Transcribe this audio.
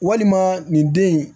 Walima nin den in